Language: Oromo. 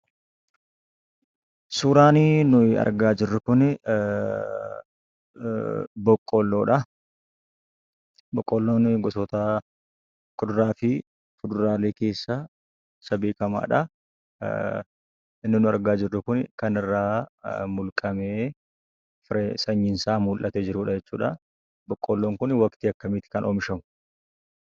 Suuraan nu argaa jirruu kunii, Boqolloodhaa. Boqolloon gosoota kuduraafi fuduraalee keessaa isa beekamaadha. Inni nu argaa jirru kunii kan irraa mulqamee firee, sanyiin isaa mul'atee jirudha jechuudha. Boqolloon kuni waqtii akkamiiti kan oomishamu?